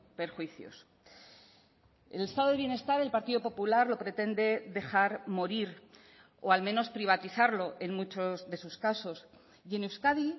perjuicios el estado de bienestar el partido popular lo pretende dejar morir o al menos privatizarlo en muchos de sus casos y en euskadi